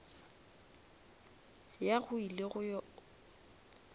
ya go ile go ya